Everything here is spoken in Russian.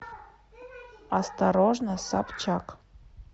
осторожно собчак